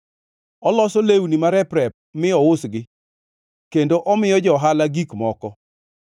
Oloso lewni marep-rep mi ousgi, kendo omiyo johala gik moko.